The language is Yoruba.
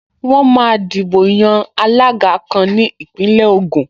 Wọ́n máa dìbò yan alága kan ní Ìpínlẹ̀ Ògùn